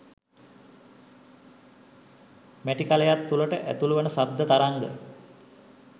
මැටි කළයක් තුලට ඇතුළුවන ශබ්ද තරංග